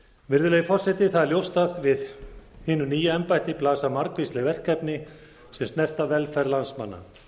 virðulegi forseti það er ljóst að við hinu nýja embætti blasa margvísleg verkefni sem snerta velferð landsmanna